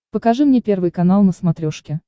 покажи мне первый канал на смотрешке